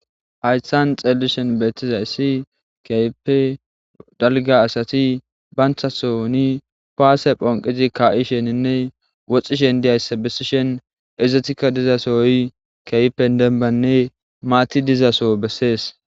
hayssan xeellishen beettiza issi keype dalga asati banthathoni paase phonqizi ka7i sheninne woxxishen diyayssa bisishen izetika dizasoy keypen denbanne maati dizaso bessees